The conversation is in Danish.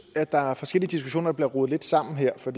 at der er forskellige diskussioner der bliver rodet lidt sammen her for